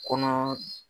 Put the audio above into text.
Kɔnɔ